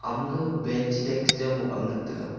ama ga bench che desk jaw bow jaw ngan tega.